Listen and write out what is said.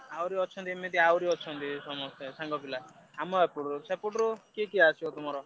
ଆହୁରି ଅଛନ୍ତି ଏମିତି ଆହୁରି ଅଛନ୍ତି ସାଙ୍ଗ ପିଲା ଆମ ଏପଟରୁ ସେପଟରୁ କିଏ କିଏ ଆସିବ ତମର?